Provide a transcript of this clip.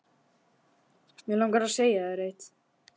Mig langar að segja þér eitt.